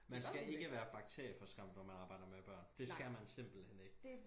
Man skal ikke være bakterieforskræmt når man arbejder med børn det skal man simpelthen ikke